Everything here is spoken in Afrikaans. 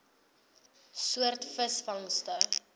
soort visvangste